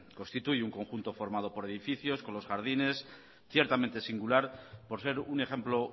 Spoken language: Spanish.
constituye un conjunto formado por edificios con los jardines ciertamente singular por ser un ejemplo